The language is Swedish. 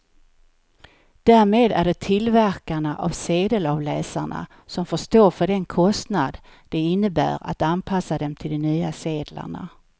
Därmed är det tillverkarna av sedelavläsarna som får stå för den kostnad det innebär att anpassa dem till de nya sedlarna.